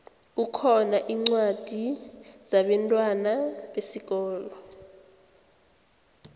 kukhona incwadi zabentwana besikolo